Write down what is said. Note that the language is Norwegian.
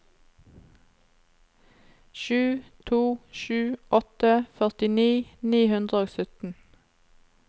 sju to sju åtte førtini ni hundre og sytten